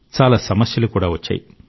చాలా సమస్యలు కూడా వచ్చాయి